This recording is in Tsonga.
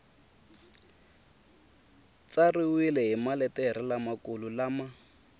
tsariwile hi maletere lamakulu lama